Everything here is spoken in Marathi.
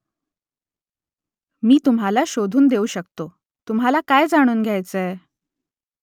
मी तुम्हाला शोधून देऊ शकतो तुम्हाला काय जाणून घ्यायचंय ?